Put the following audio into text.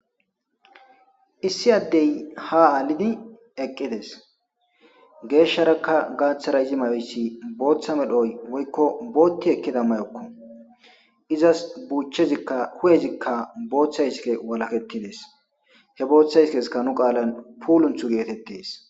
Issi addey ha aalidi eqqides geeshsharakka gaaththara izi mayoyssi booththa medhoy woykko bootti ekkida mayokko izas buuchchezikka hu'ezikka booththa iske walaketides he booththa iskeska nu qaalan puulunthu geetettes.